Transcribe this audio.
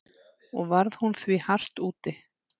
Og varð hún því hart úti.